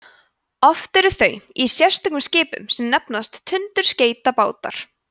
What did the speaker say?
oft eru þau í sérstökum skipum sem nefnast tundurskeytabátar